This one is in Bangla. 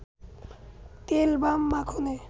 তেল বা মাখনে